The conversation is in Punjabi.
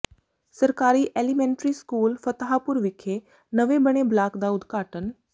ਸਰਕਾਰੀ ਐਲੀਮੇਂਟਰੀ ਸਕੂਲ ਫਤਾਹਪੁਰ ਵਿਖੇ ਨਵੇਂ ਬਣੇ ਬਲਾਕ ਦਾ ਉਦਘਾਟਨ